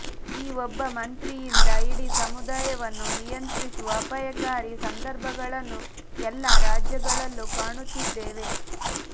ಈ ಒಬ್ಬ ಮಂತ್ರಿಯಿಂದ ಇಡೀ ಸಮುದಾಯವನ್ನು ನಿಯಂತ್ರಿಸುವ ಅಪಾಯಕಾರಿ ಸಂದರ್ಭಗಳನ್ನು ಎಲ್ಲ ರಾಜ್ಯಗಳಲ್ಲೂ ಕಾಣುತ್ತಿದ್ದೇವೆ